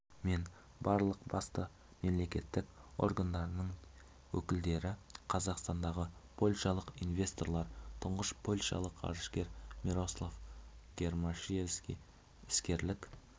мен барлық басты мемлекеттік органдарының өкілдері қазақстандағы польшалық инвесторлар тұңғыш польшалық ғарышкер мирослав гермашевский іскерлік